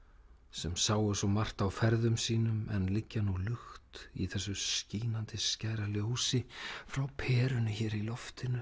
sem sáu svo margt á ferðum sínum en liggja nú lukt í þessu skínandi skæra ljósi frá perunni hér í loftinu